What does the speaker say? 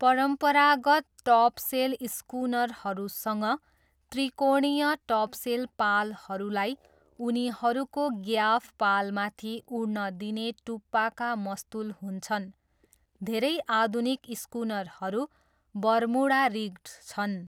परम्परागत टपसेल स्कुनरहरूसँग त्रिकोणीय टपसेल पालहरूलाई उनीहरूको ग्याफ पालमाथि उड्न दिने टुप्पाका मस्तुल हुन्छन्, धेरै आधुनिक स्कुनरहरू बर्मुडा रिग्ड छन्।